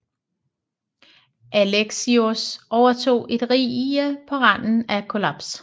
Alexios overtog et rige på randen af kollaps